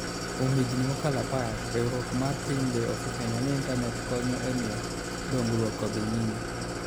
Kuom higini mokalo apar, Riwruok mar Pinje osefwenyo ni Intanet konyo e miyo dongruok odhi nyime.